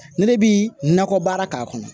Ne bi nakɔ baara k'a kɔnɔ